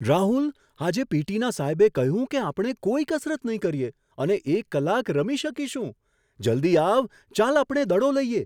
રાહુલ! આજે પી.ટી.ના સાહેબે કહ્યું કે આપણે કોઈ કસરત નહીં કરીએ અને એક કલાક રમી શકીશું! જલ્દી આવ, ચાલ આપણે દડો લઈએ!